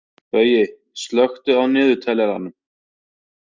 Baui, slökktu á niðurteljaranum.